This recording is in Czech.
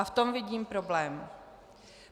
A v tom vidím problém.